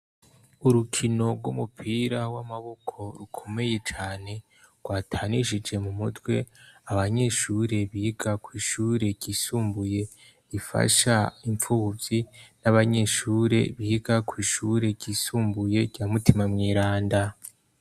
Urukino rw'umupira w'amaboko rukomeye cane, rwatanishije mu mutwe abanyeshure biga ku ishure ryisumbuye bifasha impfuyi n'abanyeshure biga ku ishure kisumbuye rya mutima mweranda.